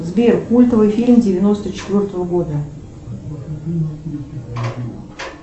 сбер культовый фильм девяносто четвертого года